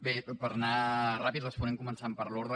bé per anar ràpid responem començant per l’ordre